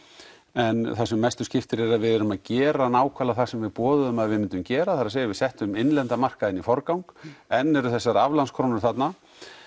en það sem mestu skiptir er að við erum að gera nákvæmlega það sem við boðuðum að við myndum gera það er að segja við settum innlendan markað í forgang enn eru þessar aflandskrónur þarna